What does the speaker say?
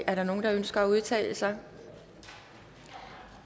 er der nogen der ønsker at udtale sig